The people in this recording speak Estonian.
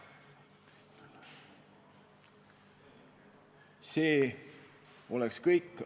See on kõik.